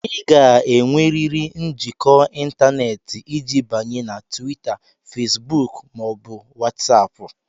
Ị ga-enwerịrị njikọ ịntanetị iji banye na Twita, Fesbuk ma ọ bụ Watsapu